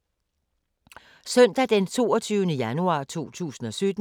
Søndag d. 22. januar 2017